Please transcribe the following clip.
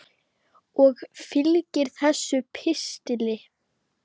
Og fylgir þessum pistli.